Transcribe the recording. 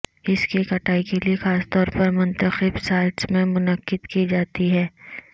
اس کی کٹائی کے لئے خاص طور پر منتخب سائٹس میں منعقد کی جاتی ہے